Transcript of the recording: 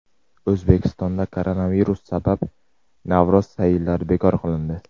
O‘zbekistonda koronavirus sabab Navro‘z sayillari bekor qilindi.